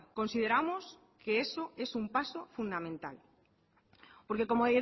consideramos que eso es un paso fundamental porque como